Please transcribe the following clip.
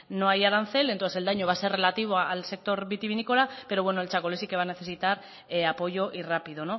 no hay arancel entonces el daño va a ser relativo al sector vitivinícola pero bueno el txakoli sí que va a necesitar apoyo y rápido